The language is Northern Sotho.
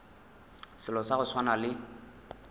selo sa go swana le